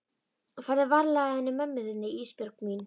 Farðu varlega að henni mömmu þinni Ísbjörg mín.